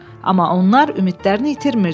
Amma onlar ümidlərini itirmirdilər.